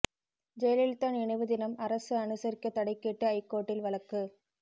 ஜெயலலிதா நினைவு தினம் அரசு அனுசரிக்க தடை கேட்டு ஐகோர்ட்டில் வழக்கு